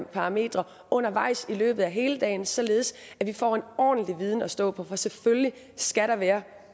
parametre undervejs i løbet af hele dagen således at vi får en ordentlig viden at stå på for selvfølgelig skal der være